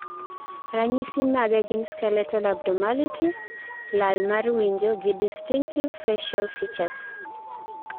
ranyisi mage gin skeletal abnormalities, lal mar winjo, gi distinctive facil features